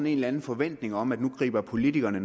en eller anden forventning om at nu griber politikerne